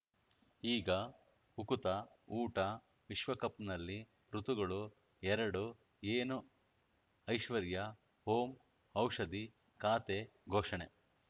ಈಗ ಉಕುತ ಊಟ ವಿಶ್ವಕಪ್‌ನಲ್ಲಿ ಋತುಗಳು ಎರಡು ಏನು ಐಶ್ವರ್ಯಾ ಓಂ ಔಷಧಿ ಖಾತೆ ಘೋಷಣೆ